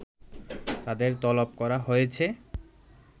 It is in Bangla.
তাদের তলব করা হয়েছে